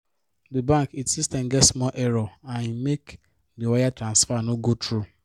di bank it system get small error and e make the wire transfer no go through.